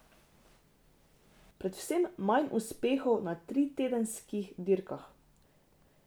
Predvsem manj uspehov na tritedenskih dirkah.